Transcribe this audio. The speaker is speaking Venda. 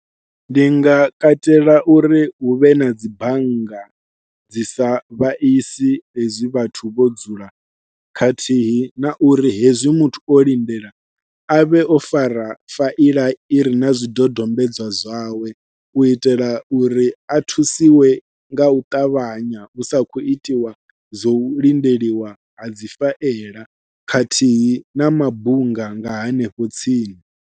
Ndi nga katela uri huvhe na dzi bannga dzi sa vhaisi hezwi vhathu vho dzula khathihi na uri hezwi muthu o lindela a vhe o fara faila ire na zwidodombedzwa zwawe u itela uri a thusiwe nga u ṱavhanya hu sa khou itiwa zwo u lindeliwa ha dzi faila khathihi na mabunga nga hanefho tsini.